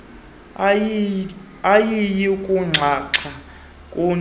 ayiyi kunxaxha kuyi